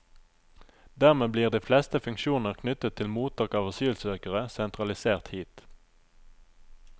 Dermed blir de fleste funksjoner knyttet til mottak av asylsøkere sentralisert hit.